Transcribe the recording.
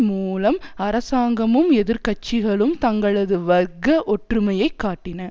மூலம் அரசாங்கமும் எதிர்கட்சிகளும் தங்களது வர்க்க ஒற்றுமையை காட்டின